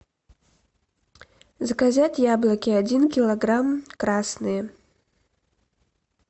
заказать яблоки один килограмм красные